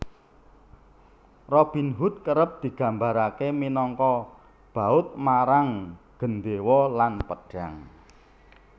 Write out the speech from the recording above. Robin Hood kerep digambaraké minangka baud marang gendhéwa lan pedhang